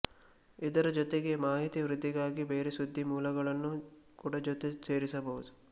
ಇದರ ಜೊತೆಗೆ ಮಾಹಿತಿ ವೃದ್ಧಿಗಾಗಿ ಬೇರೆ ಸುದ್ದಿ ಮೂಲಗಳನ್ನು ಕೂಡ ಜೊತೆ ಸೇರಿಸಬಹುದು